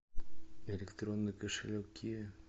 электронный кошелек киви